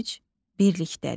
güc birlikdədir.